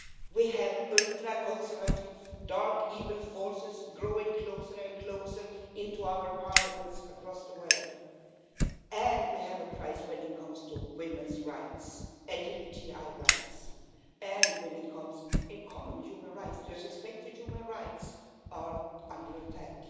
We have ultra conservative, dark, evil forces growing closer and closer into our parliaments across the world, and we have a crisis when it comes to women's rights, LGBTI rights, and when it comes, in common human rights, respect for human rights is under attack